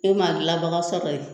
Ne m'a dilanbaga sɔrɔ yen